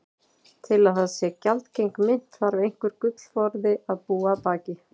Til að það sé gjaldgeng mynt þarf einhver gullforði að búa að baki.